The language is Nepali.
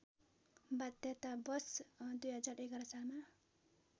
बाध्यतावश २०११ सालमा